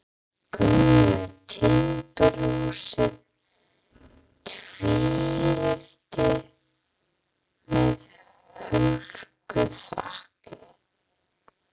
Gömlu timburhúsi, tvílyftu með höllu þaki.